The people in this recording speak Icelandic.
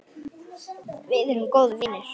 Við erum góðir vinir.